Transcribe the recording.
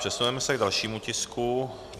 Přesuneme se k dalšímu tisku.